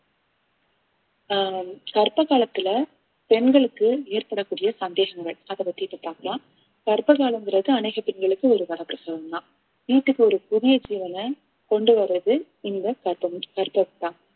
ஆஹ் கர்ப்ப காலத்துல பெண்களுக்கு ஏற்படக்கூடிய சந்தேகங்கள் அதை பத்தி இப்ப பாக்கலாம் கர்ப்ப காலம்ங்கிறது அநேக பெண்களுக்கு ஒரு வரப்பிரசாதம்தான் வீட்டுக்கு ஒரு புதிய ஜீவனை கொண்டு வர்றது இந்த